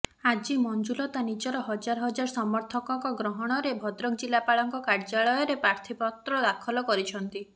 ଆଜି ମଂଜୁଲତା ନିଜର ହଜାର ହଜାର ସମର୍ଥକଙ୍କ ଗ୍ରହଣରେ ଭଦ୍ରକ ଜିଲାପାଳଙ୍କ କାର୍ଯ୍ୟାଳୟରେ ପ୍ରାର୍ଥୀପତ୍ର ଦାଖଲ କରିଛନ୍ତି